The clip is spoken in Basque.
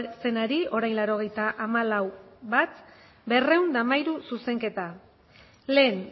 zenari orain laurogeita hamalau puntu bat berrehun eta hamairu zuzenketa lehen